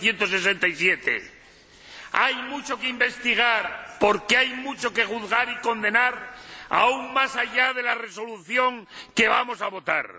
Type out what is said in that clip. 1967. Hay mucho que investigar, porque hay mucho que juzgar y condenar, aun más allá de la Resolución que vamos a votar.